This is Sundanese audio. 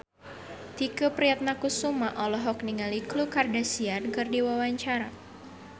Tike Priatnakusuma olohok ningali Khloe Kardashian keur diwawancara